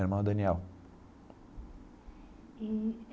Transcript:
Meu irmão é Daniel. Eee.